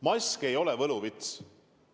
Mask ei ole võluvits.